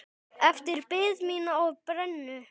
Eftir bið mína á brennu.